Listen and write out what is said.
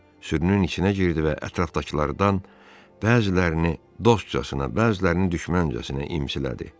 Sürünün içinə girdi və ətrafdakılardan bəzilərini dostcasına, bəzilərini düşməncəsinə imsilədi.